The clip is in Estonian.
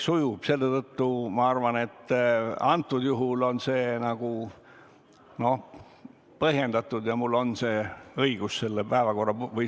Selle tõttu, ma arvan, on mul õigus selle paragrahvi järgi tegutseda.